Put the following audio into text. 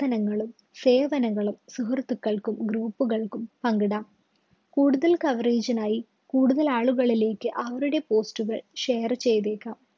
സേവനങ്ങളും സുഹൃത്തുക്കള്‍ക്കും group കള്‍ക്കും പങ്കിടാം. കൂടുതല്‍ coverage നായി, കൂടുതല്‍ ആളുകളിലേക്ക്‌ അവരുടെ post കള്‍ share ചെയ്തേക്കാം.